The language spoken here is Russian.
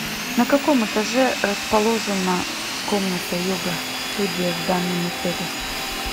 на каком этаже расположена комната йога студия в данном отеле